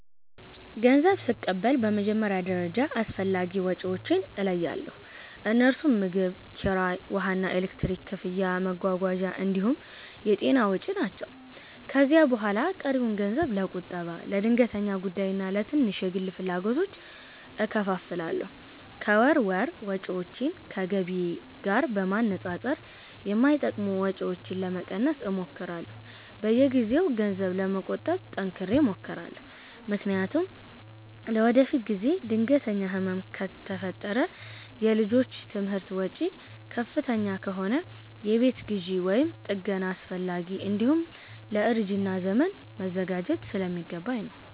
ገንዘብ ስቀበል በመጀመሪያ ደረጃ አስፈላጊ ወጪዎቼን እለያለሁ፤ እነርሱም ምግብ፣ ኪራይ፣ ውሃና ኤሌክትሪክ ክፍያ፣ መጓጓዣ እንዲሁም የጤና ወጪ ናቸው። ከዚያ በኋላ ቀሪውን ገንዘብ ለቁጠባ፣ ለድንገተኛ ጉዳይና ለትንሽ የግል ፍላጎቶች እከፋፍላለሁ። ከወር ወር ወጪዎቼን ከገቢዬ ጋር በማነጻጸር የማይጠቅሙ ወጪዎችን ለመቀነስ እሞክራለሁ። በየጊዜው ገንዘብ ለመቆጠብ ጠንክሬ እሞክራለሁ፤ ምክንያቱም ለወደፊት ጊዜ ድንገተኛ ህመም ከፈጠረ፣ የልጆች ትምህርት ወጪ ከፍተኛ ከሆነ፣ የቤት ግዢ ወይም ጥገና አስፈለገ፣ እንዲሁም ለእርጅና ዘመን መዘጋጀት ስለሚገባኝ ነው።